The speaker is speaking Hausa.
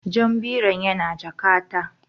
Jan biron yana jakata